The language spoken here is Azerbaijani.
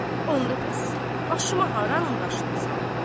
Onda bəs başıma haranın daşını salım?